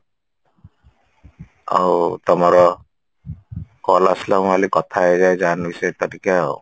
ଆଉ ତମର call ଆସିଲା ମୁଁ ଭାବିଲି କଥା ହେଇଯାଏ ଜାନବୀ ସହିତ ଟିକେ ଆଉ